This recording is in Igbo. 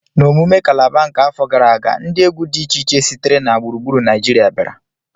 N'emume kalaba nke afọ gara aga, ndị egwu dị iche iche sitere na gburugburu Naịjirịa bịara